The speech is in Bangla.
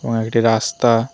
হ্যাঁ এটা রাস্তা।